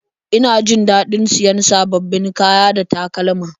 Ina jin daɗin siyan sababbin kaya da takalma